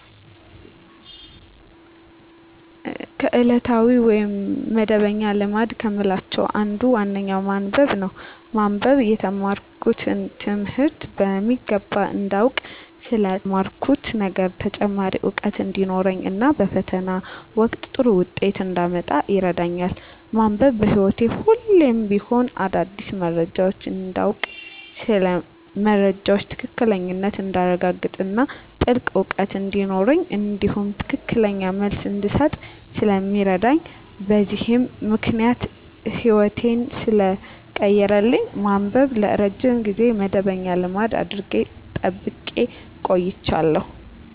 ከዕለታዊ ወይም መደበኛ ልማድ ከምላቸው አንዱና ዋነኛው ማንበብ ነው። ማንበብ የተማርኩትን ትምህርት በሚገባ እንዳውቅ ስለ ተማርኩት ነገር ተጨማሪ እውቀት እንዲኖረኝ እና በፈተና ወቅት ጥሩ ውጤት እንዳመጣ ይረዳኛል። ማንበብ በህይወቴ ሁሌም ቢሆን አዳዲስ መረጃዎችን እንዳውቅ ስለ መረጃዎች ትክክለኛነት እንዳረጋግጥ እና ጥልቅ እውቀት እንዲኖረኝ እንዲሁም ትክክለኛ መልስ እንድሰጥ ስለሚረዳኝ በዚህም ምክንያት ህይወቴን ሰለቀየረልኝ ማንበብን ለረጅም ጊዜ መደበኛ ልማድ አድርጌ ጠብቄ አቆይቸዋለሁ።